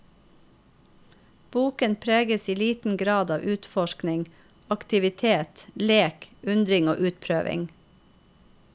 Boken preges i liten grad av utforskning, aktivitet, lek, undring og utprøving.